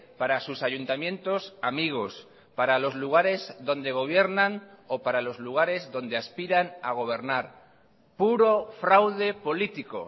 para sus ayuntamientos amigos para los lugares donde gobiernan o para los lugares donde aspiran a gobernar puro fraude político